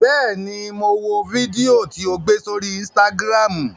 Bẹ́ẹ̀ ni, mo wo fídíò tí o gbé sórí Instagram.